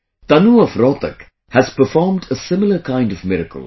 Tanu of Rohtak has performed a similar kind of miracle